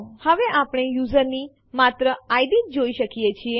હવે આપણે યુઝરો ની માત્ર ઇડ જ જોઈ શકીએ છીએ